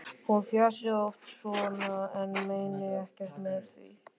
Hún fjasi oft svona en meini ekkert með því.